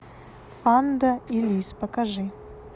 панда и лис покажи